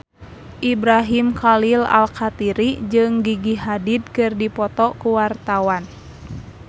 Ibrahim Khalil Alkatiri jeung Gigi Hadid keur dipoto ku wartawan